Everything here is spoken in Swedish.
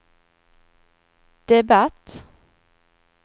debatt